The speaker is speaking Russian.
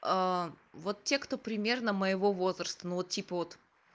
вот те кто примерно моего возраста ну вот типа вот